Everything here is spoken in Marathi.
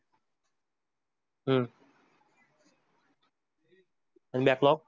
हम्म आणि baklog?